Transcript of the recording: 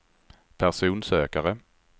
personsökare